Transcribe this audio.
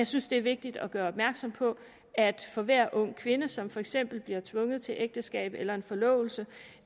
synes det er vigtigt at gøre opmærksom på at for hver ung kvinde som for eksempel bliver tvunget til ægteskab eller forlovelse